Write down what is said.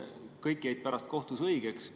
Kõik mõisteti pärast kohtus õigeks.